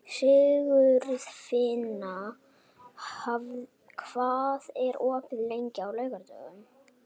Sigurfinna, hvað er opið lengi á laugardaginn?